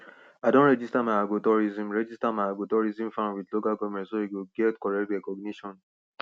i don register my agrotourism register my agrotourism farm with local government so e go get correct recognition